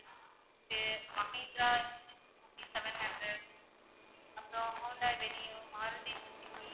இருக்கு mahindra seven hundred அப்பறம் honda venue, maruti suzuki.